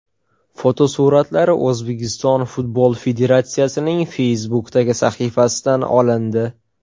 Fotosuratlar O‘zbekiston Futbol Federatsiyasining Facebook’dagi sahifasidan olindi.